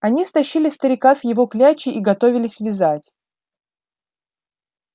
они стащили старика с его клячи и готовились вязать